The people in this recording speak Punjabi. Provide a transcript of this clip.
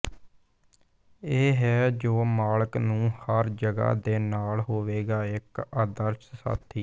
ਇਹ ਹੈ ਜੋ ਮਾਲਕ ਨੂੰ ਹਰ ਜਗ੍ਹਾ ਦੇ ਨਾਲ ਹੋਵੇਗਾ ਇੱਕ ਆਦਰਸ਼ ਸਾਥੀ ਹੈ